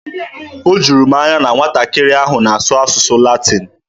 O juru m anya na nwatakịrị ahụ na-asụ asụsụ Latin.